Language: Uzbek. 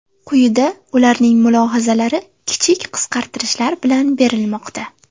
Quyida ularning mulohazalari kichik qisqartirishlar bilan berilmoqda.